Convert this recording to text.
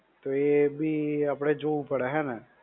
તો એ બી આપણે જોવું પડે હે ને?